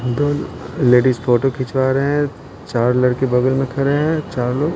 दो ladies photo खिंचवा रहे हैं चार लड़के बगल में खड़े हैं चार लोग --